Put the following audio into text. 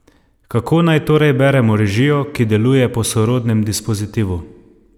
Kako naj torej beremo režijo, ki deluje po sorodnem dispozitivu?